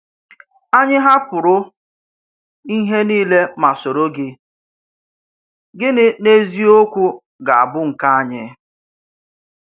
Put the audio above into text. Ányị̀ hàpụrụ̀ ihe niilè ma sòrò̀ gị; gị̀nị̀ n’eziokwú ga-a bụ nkè ányị̀?